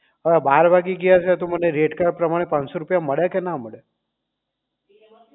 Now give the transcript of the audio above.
હવે બાર વાગી ગયા છે તો મને rate card પ્રમાણે પાંચ સો રૂપિયા મળે કે ના મળે